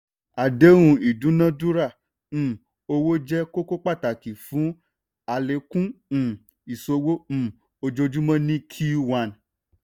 àdéhùn ìdúnádúrà um owó jẹ́ kókó pàtàkì fún àlékún um ìṣòwò um ojoojúmọ́ ní q one